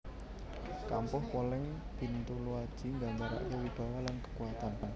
Kampuh Poleng Bintuluaji nggambarake wibawa lan kekuatan